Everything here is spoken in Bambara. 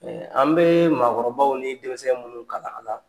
an bee maakɔrɔbaw ni denmisɛn minnu kalan a la